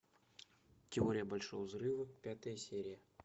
теория большого взрыва пятая серия